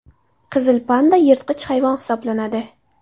Qizil panda yirtqich hayvon hisoblanadi.